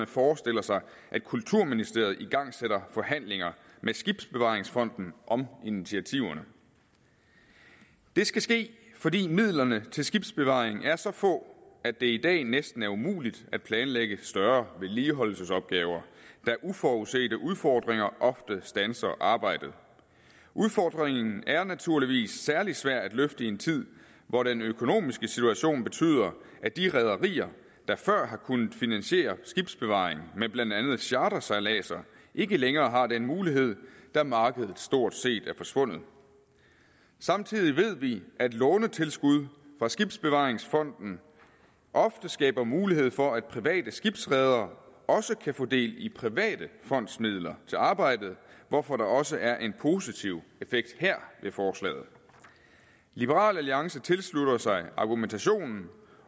forestiller sig at kulturministeriet igangsætter forhandlinger med skibsbevaringsfonden om initiativerne det skal ske fordi midlerne til skibsbevaring er så få at det i dag næsten er umuligt at planlægge større vedligeholdelsesopgaver da uforudsete udfordringer ofte standser arbejdet udfordringen er naturligvis særlig svær at løfte i en tid hvor den økonomiske situation betyder at de rederier der før har kunnet finansiere skibsbevaring med blandt andet chartersejladser ikke længere har den mulighed da markedet stort set er forsvundet samtidig ved vi at lånetilskud fra skibsbevaringsfonden ofte skaber mulighed for at private skibsredere også kan få del i private fondsmidler til arbejdet hvorfor der også er en positiv effekt her ved forslaget liberal alliance tilslutter sig argumentationen